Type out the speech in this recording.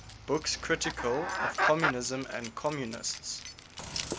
books critical of communism and communists